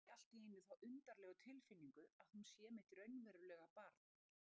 Og fæ allt í einu þá undarlegu tilfinningu að hún sé mitt raunverulega barn.